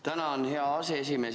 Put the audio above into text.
Tänan, hea aseesimees!